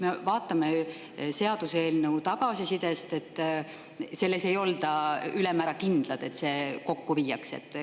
Me seaduseelnõu tagasisidest, et selles ei olda ülemäära kindlad, et need kokku viiakse.